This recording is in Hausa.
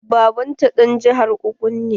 Baban ta ɗan jihar Ogun ne.